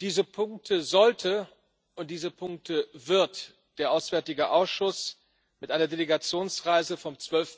Diese Punkte sollte und diese Punkte wird der Auswärtige Ausschuss im Rahmen einer Delegationsreise vom